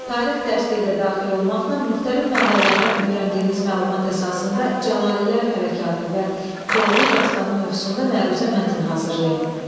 Tarix dərsliyi də daxil olmaqla müxtəlif mənbələrdən öyrəndiyiniz məlumat əsasında Cəlallilər Hərəkatı və Koroğlu dastanı mövzusunda məruzə mətn hazırlayın.